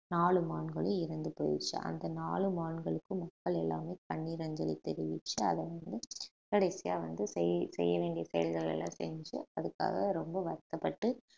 நாலு மான்களும் இறந்து போயிடுச்சு அந்த நாலு மான்களுக்கும் மக்கள் எல்லாமே கண்ணீர் அஞ்சலி தெரிவிச்சு அதன் மூலம் கடைசியா வந்து செய்~ செய்ய வேண்டிய செயல்கள் எல்லாம் செஞ்சு அதுக்காக ரொம்ப வருத்தப்பட்டு